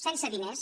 sense diners